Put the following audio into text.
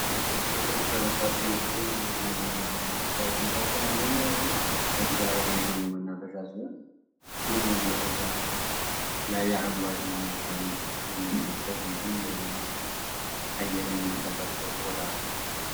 በቅርቡ ከተሰሩ የሚያምሩ መዝናኛና መናፈሻ ዎች መካከል አንደኛው የሆነው በአዲስ አበባ የሚገኘው መናፈሻ ሲሆን ይህ መናፈሻ ላይ አረንጓዴ መልክዓ ምድር የምናይበት እንዲሁም ደግሞ ንፁህ አይር የምንቀበልበት ቦታ ነው።